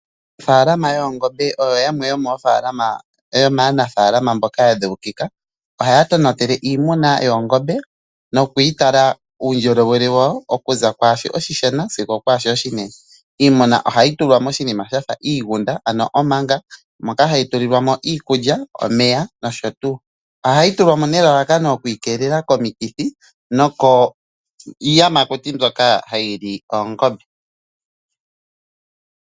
Aanafaalama yoongombe oyo yamwe yomaanaafalama mboka ya dheukika. Ohaya tonatele iimuna yoongombe nokuyi tala uundjolowele wayo, okuza kwaa shoka oshishona sigo okwaa shoka oshinene. Iimuna ohayi tulwa moshinima sha fa iigunda, ano omanga moka hayi tulilwa mo iikulya, omeya nosho tuu. Ohayi tulwa mo nelalakano okuyi keelela komikithi nokiiyamakuti mbyoka hayi li oongombe.